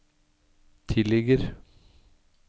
tilligger